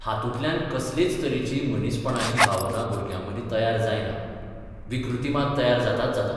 हातूंतल्यान कसलेच तरेची मनीसपणाची भावना भुरग्यामदीं तयार जायना विकृती मात तयार जाताच जाता.